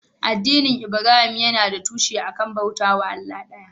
Addinin Ibrahim yana da tushe a kan bauta wa Allah ɗaya.